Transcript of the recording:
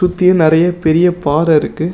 சுத்தியும் நெறைய பெரிய பாற இருக்கு.